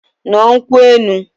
Ṅụọ nkwụ elu!